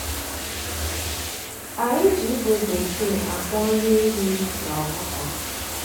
Anyị ji ígwè bekee akwọ nri ehi na ọkụkọ.